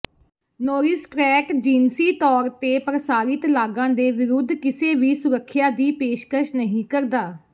ਨੋਰਿਸਟਰੈਟ ਜਿਨਸੀ ਤੌਰ ਤੇ ਪ੍ਰਸਾਰਿਤ ਲਾਗਾਂ ਦੇ ਵਿਰੁੱਧ ਕਿਸੇ ਵੀ ਸੁਰੱਖਿਆ ਦੀ ਪੇਸ਼ਕਸ਼ ਨਹੀਂ ਕਰਦਾ